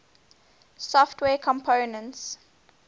software components